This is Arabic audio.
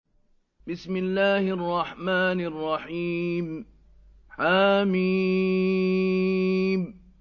حم